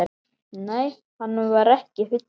Nei, hann var ekki fullur.